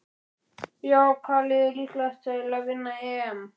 Já Hvaða lið er líklegast til að vinna EM?